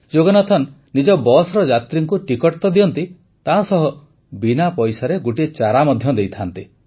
ଯୋଗନାଥନ ନିଜ ବସ୍ର ଯାତ୍ରୀଙ୍କୁ ଟିକଟ ତ ଦିଅନ୍ତି ତାସହ ବିନା ପଇସାରେ ଗୋଟିଏ ଚାରା ମଧ୍ୟ ଦେଇଥାନ୍ତି